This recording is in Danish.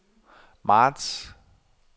marts